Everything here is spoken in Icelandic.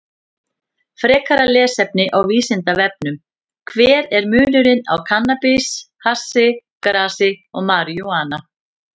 Frekara lesefni á Vísindavefnum: Hver er munurinn á kannabis, hassi, grasi og marijúana?